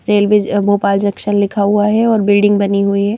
Railway Bhopal junction लिखा हुआ है और बिल्डिंग बनी हुई है।